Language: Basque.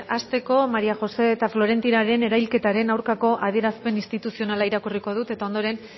hasteko maría josé eta florentinaren erailketaren aurkako adierazpen instituzionala irakurriko dut eta ondoren